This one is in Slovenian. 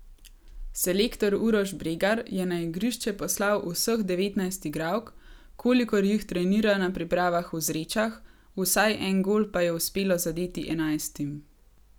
Selektor Uroš Bregar je na igrišče poslal vseh devetnajst igralk, kolikor jih trenira na pripravah v Zrečah, vsaj en gol pa je uspelo zadeti enajstim.